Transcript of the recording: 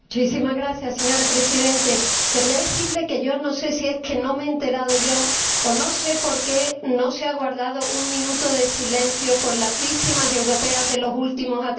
Señora Presidenta, quería decirle que yo no sé si es que no me he enterado yo, o no sé por qué no se ha guardado un minuto de silencio por las víctimas europeas de los últimos atentados.